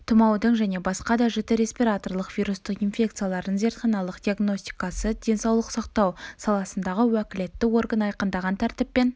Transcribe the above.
тұмаудың және басқа да жіті респираторлық вирустық инфекциялардың зертханалық диагностикасы денсаулық сақтау саласындағы уәкілетті орган айқындаған тәртіппен